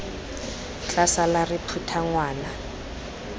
tla sala re phutha ngwana